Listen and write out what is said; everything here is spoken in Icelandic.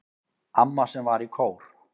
Amma sem var í kór.